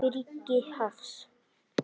Birgir Hafst.